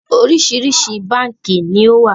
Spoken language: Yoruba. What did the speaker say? Oríṣiríṣi báànkì ni ó wà